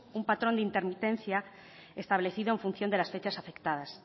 un patrón de intermitencia establecido en función de las fechas afectadas